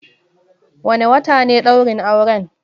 Wane wata ne ɗaurin auren?